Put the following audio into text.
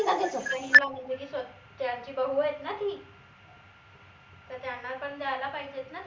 त्यांची बहु आहेत ना ती त त्यांना पन द्यायला पाहिजेत ना